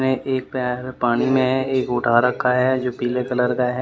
मे एक पैर पानी में है एक उठा रखा है जो पीले कलर का है।